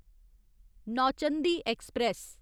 Nauchandi express